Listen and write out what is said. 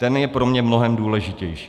Ten je pro mě mnohem důležitější.